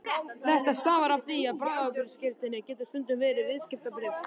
Þetta stafar af því að bráðabirgðaskírteini getur stundum verið viðskiptabréf.